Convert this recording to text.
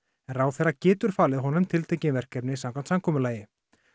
en ráðherra getur þó falið honum tiltekin verkefni samkvæmt samkomulagi